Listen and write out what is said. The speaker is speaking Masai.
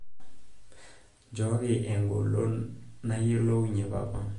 njooki egolonon nayiolounye papa